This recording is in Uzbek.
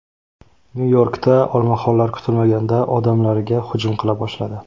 Nyu-Yorkda olmaxonlar kutilmaganda odamlarga hujum qila boshladi.